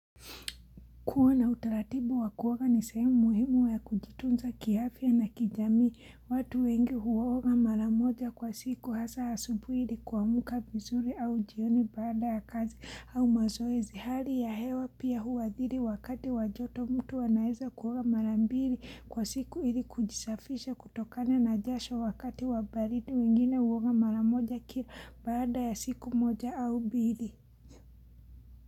Kuwa na utaratibu wa kuoga ni sehemu ya muhimu wa kujitunza kiafya na kijamii, watu wengi huoga maramoja kwa siku hasa asubuhi ili kuamuka vizuri au jioni baada ya kazi au mazoezi hali ya hewa pia huwadhiri wakati wajoto mtu anaeza kuoga mara mbili kwa siku hili kujisafisha kutokane na jasho wakati wabaridi wengine huoga maramoja kia baada ya siku moja au mbili.